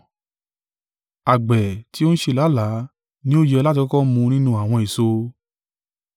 Àgbẹ̀ ti ó ń ṣe làálàá ni ó yẹ láti kọ́kọ́ mu nínú àwọn èso.